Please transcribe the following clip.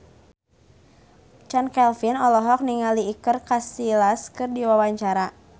Chand Kelvin olohok ningali Iker Casillas keur diwawancara